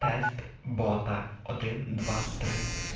бота